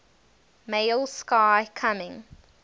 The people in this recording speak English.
male sky coming